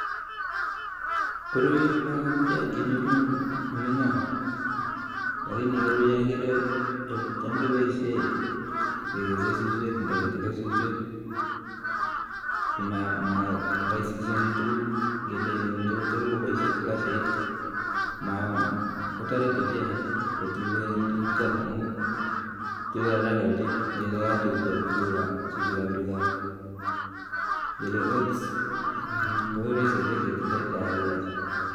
Koroi ko matya kenyoru eng olinyo, alakini koroi ageere cham kepoishe kekesei suswek nda ketile suswek, maraisishani tuguk ngele machei kotil kopoishen slashait kotoreti ochei kotilei tuguchuto amun tilei haraka ochei ngele kakotil suswekab tuga, ngele oats ko raisi ochei ketilei yon kakikes.